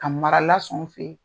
Ka mara lasɔn u fe yen.